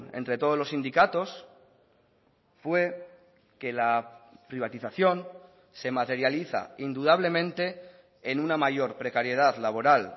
entre todos los sindicatos fue que la privatización se materializa indudablemente en una mayor precariedad laboral